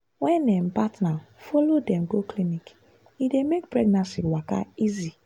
wen um partner follow dem go clinic e dey make pregnancy waka easy.